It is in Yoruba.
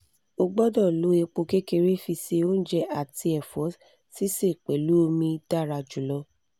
ogbodo lo epo kekere fi se ounje ati efo sise pelu omi dara julo